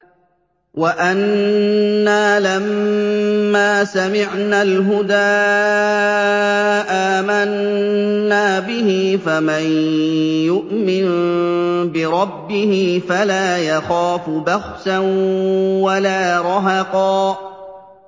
وَأَنَّا لَمَّا سَمِعْنَا الْهُدَىٰ آمَنَّا بِهِ ۖ فَمَن يُؤْمِن بِرَبِّهِ فَلَا يَخَافُ بَخْسًا وَلَا رَهَقًا